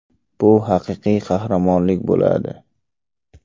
Bu haqiqiy qahramonlik bo‘ladi.